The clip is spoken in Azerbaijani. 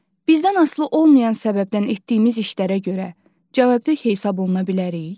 Bizdən asılı olmayan səbəbdən etdiyimiz işlərə görə cavabdeh hesaba oluna bilərik?